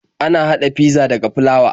Ana haɗa fizza daga flawa.